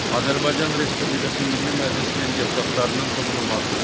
Azərbaycan Respublikası Milli Məclisinin deputatlarının toxunulmazlığı.